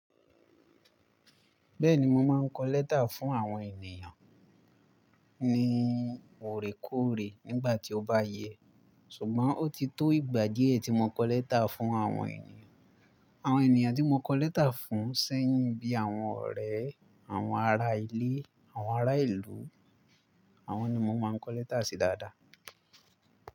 Bẹ́ẹ̀ni, mo máa n kọ lẹ́tà fún àwọn ènìyàn ní òrékóòrè nígbà tí ó bá yẹ. Ṣùgbọ́n ó ti tó ìgbà díẹ̀ tí mo kọ lẹ́tà fún àwọn ènìyàn. Àwọn ènìyàn tí mo kọ lẹ́tà fún sẹ́yìn bíi àwọn ọ̀rẹ́, àwọn ará ilé, àwọn ará ìlú, àwọn ni mo máa ń kọ lẹ́tà sí dáadáa.